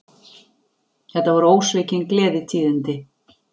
Þetta voru ósvikin gleðitíðindi